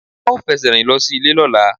A ó fẹsẹ̀ rìn lọ sí ìlé lọ́la